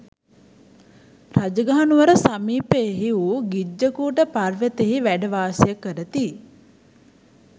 රජගහ නුවර සමීපයෙහි වූ ගිජ්ඣකූට පර්වතයෙහි වැඩ වාසය කරති